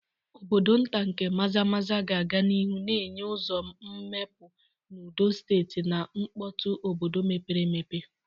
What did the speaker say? Obodo nta nke Maza-maza ga-aga n'ihu na-enye ụzọ mgbapụ n'udo site na mkpọtụ obodo mepere emepe.